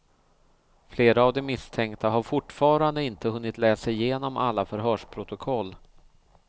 Flera av de misstänkta har fortfarande inte hunnit läsa igenom alla förhörsprotokoll.